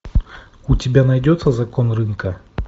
у тебя найдется закон рынка